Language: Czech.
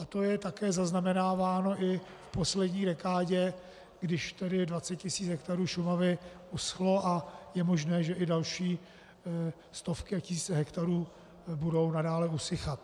A to je také zaznamenáváno i v poslední dekádě, když tedy 20 tisíc hektarů Šumavy uschlo a je možné, že i další stovky a tisíce hektarů budou nadále usychat.